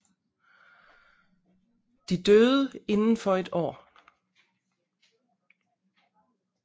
De døde inden for et år